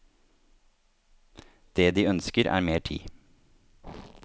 Det de ønsker er mer tid.